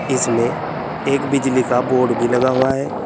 इसमें एक बिजली का बोर्ड भी लगा हुआ है।